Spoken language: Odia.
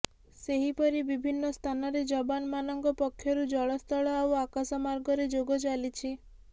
ସେହିପରି ବିଭିନ୍ନ ସ୍ଥାନରେ ଯବାନମାନଙ୍କ ପକ୍ଷରୁ ଜଳ ସ୍ଥଳ ଆଉ ଆକାଶ ମାର୍ଗରେ ଯୋଗ ଚାଲିଛି